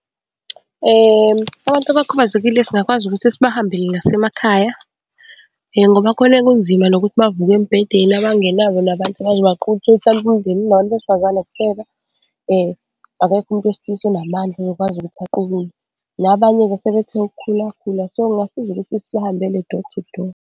Abantu abakhubazekile singakwazi ukuthi sibahambele nasemakhaya ngoba khona kunzima nokuthi bavuke embhedeni. Abangenabo nabantu abazobaqukula mhlampe umndeni unabantu besifazane kuphela akekho umuntu wesilisa onamandla ozokwazi ukuthi aqukule. Nabanye-ke sebethe ukukhula khula, so kungasiza ukuthi sibahambele door to door.